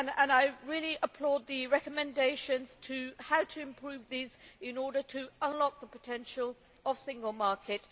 I really applaud the recommendations as to how to improve these in order to unlock the potential of the single market.